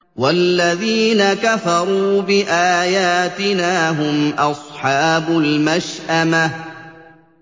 وَالَّذِينَ كَفَرُوا بِآيَاتِنَا هُمْ أَصْحَابُ الْمَشْأَمَةِ